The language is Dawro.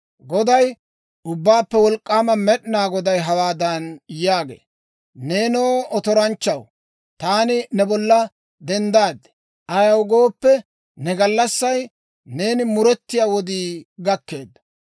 Goday, Ubbaappe Wolk'k'aama Med'inaa Goday hawaadan yaagee; «Neenoo, otoranchchaw, taani ne bolla denddaad. Ayaw gooppe, ne gallassay, neeni muretiyaa wodii gakkeedda.